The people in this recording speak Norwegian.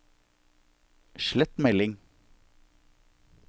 slett melding